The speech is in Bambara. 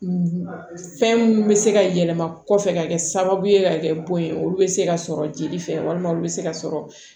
fɛn minnu bɛ se ka yɛlɛma kɔfɛ ka kɛ sababu ye ka kɛ bon ye olu bɛ se ka sɔrɔ jeli fɛ walima olu bɛ se ka sɔrɔ